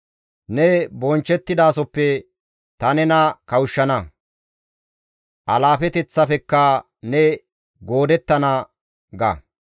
Ne bonchchettidasoppe ta nena kawushshana; alaafeteththaafekka ne goodettana» ga.